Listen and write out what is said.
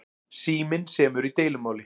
Síminn semur í deilumáli